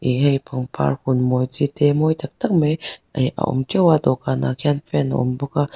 ih hei pangpar hun maw chi te mawi tak tak mai ehh a awm teuh a dawhkan ah khian fan a awm bawk a.